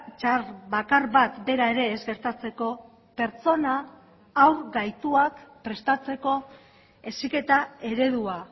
txar bakar bat bera ere ez gertatzeko pertsona haur gaituak prestatzeko heziketa eredua